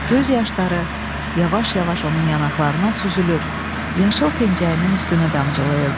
Göz yaşları yavaş-yavaş onun yanaqlarına süzülür, yaşıl pəncəyinin üstünə damcılayırdı."